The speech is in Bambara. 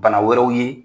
Bana wɛrɛw ye